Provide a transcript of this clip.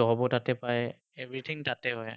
job ও তাতে পায়। Everything তাতে হয়।